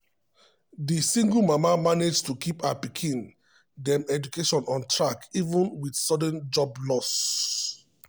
di single mama manage to keep her pikin dem education on track even with sudden job loss.